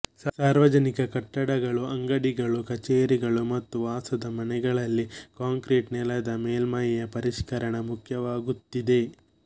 ಸಾರ್ವಜನಿಕ ಕಟ್ಟಡಗಳು ಅಂಗಡಿಗಳೂ ಕಚೇರಿಗಳು ಮತ್ತು ವಾಸದ ಮನೆಗಳಲ್ಲಿ ಕಾಂಕ್ರಿಟ್ ನೆಲದ ಮೇಲ್ಮೈಯ ಪರಿಷ್ಕರಣ ಮುಖ್ಯವಾಗುತ್ತಿದೆ